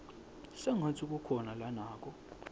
sengatsi kukhona lanako